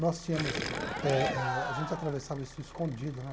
Nós tínhamos eh eh, a gente atravessava isso escondido, né?